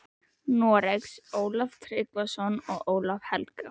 Noregs, Ólaf Tryggvason og Ólaf helga.